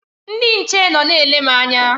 Ndị nche nọ na-ele m anya.